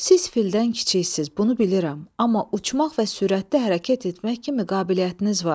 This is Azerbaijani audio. siz fildən kiçiksiz, bunu bilirəm, amma uçmaq və sürətli hərəkət etmək kimi qabiliyyətiniz var.